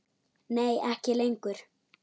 Nei ekki lengur.